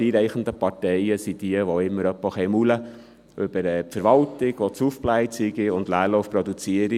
Die einreichenden Parteien sind jene, welche jeweils ein wenig über die Verwaltung maulen, die zu aufgebläht sei und Leerlauf produziere.